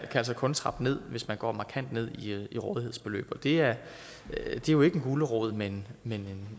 altså kun trappe ned hvis man går markant ned i rådighedsbeløb det er jo ikke en gulerod men men